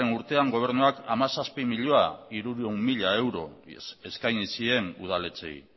urtean gobernuak hamazazpi milioi hirurehun mila mila euro eskaini zien udaletxeei